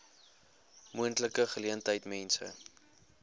moontlike geleentheid mense